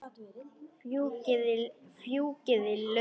Fjúkiði lauf.